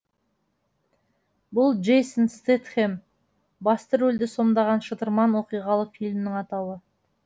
бұл джейсон стэтхем басты рөлді сомдаған шытырман оқиғалы фильмнің атауы